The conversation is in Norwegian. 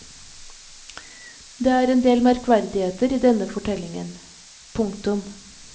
Det er en del merkverdigheter i denne fortellingen. punktum